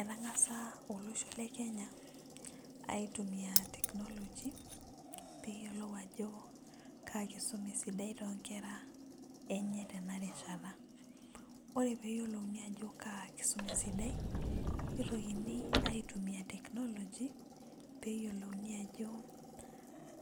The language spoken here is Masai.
Ekangasa olosho lekenya aitumia technology peyiolou ajo kaa kisuma esidai toonkera enye tenelarishata ore peyiolouni ajo kaa kisuma esidai nitokini aitumia technology peyiolouni ajo